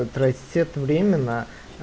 отрастёт временно